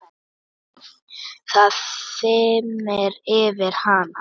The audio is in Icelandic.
Það þyrmir yfir hana.